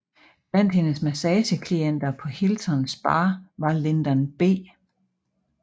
Blandt hendes massageklienter på Hilton Spa var Lyndon B